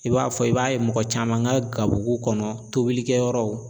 I b'a fɔ i b'a ye mɔgɔ caman ka gabugu kɔnɔ tobilikɛyɔrɔw